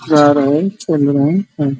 जा रहे है |